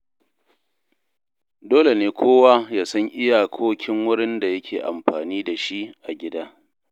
Dole ne kowa ya san iyakokin wurin da yake amfani da shi a gida.